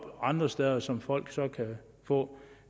andre steder som folk så kan få